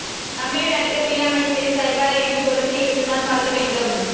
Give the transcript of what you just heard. தமிழில் நடிக்க பிரியாமணி செவி சாய்ப்பாரா என்று பொறுத்து இருந்து தான் பார்க்க வேண்டும்